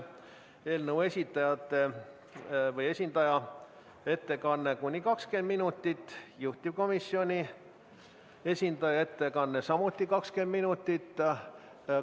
Eelnõu esitajate esindaja ettekanne on kuni 20 minutit, juhtivkomisjoni esindaja ettekanne samuti kuni 20 minutit.